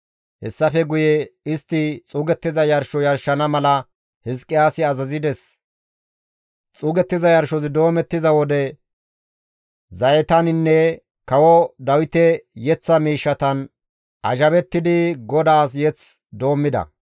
Hessafe guye istti xuugettiza yarsho yarshana mala Hizqiyaasi azazides; xuugettiza yarshozi doomettiza wode zayetaninne kawo Dawite yeththa miishshatan azhabettidi GODAAS mazamure doommida.